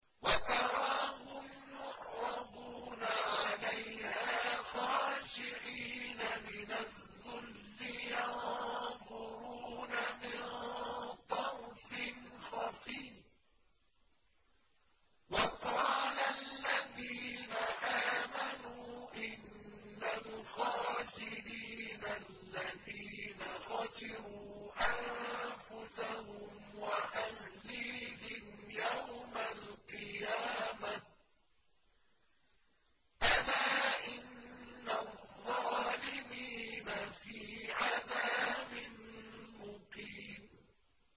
وَتَرَاهُمْ يُعْرَضُونَ عَلَيْهَا خَاشِعِينَ مِنَ الذُّلِّ يَنظُرُونَ مِن طَرْفٍ خَفِيٍّ ۗ وَقَالَ الَّذِينَ آمَنُوا إِنَّ الْخَاسِرِينَ الَّذِينَ خَسِرُوا أَنفُسَهُمْ وَأَهْلِيهِمْ يَوْمَ الْقِيَامَةِ ۗ أَلَا إِنَّ الظَّالِمِينَ فِي عَذَابٍ مُّقِيمٍ